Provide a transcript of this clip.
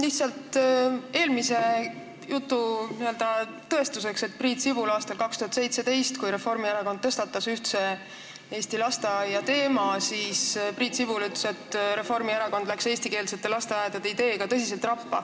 Lihtsalt eelkõnelejate jutu n-ö tõestuseks: aastal 2017, kui Reformierakond tõstatas ühtse eesti lasteaia teema, siis Priit Sibul ütles, et Reformierakond läks eestikeelsete lasteaedade ideega tõsiselt rappa.